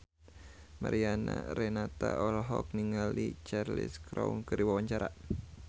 Mariana Renata olohok ningali Cheryl Crow keur diwawancara